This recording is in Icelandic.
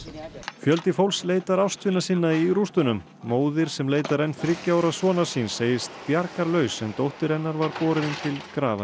fjöldi fólks leitar ástvina sinna í rústunum móðir sem leitar enn þriggja ára sonar síns segist bjargarlaus en dóttir hennar var borin til grafar í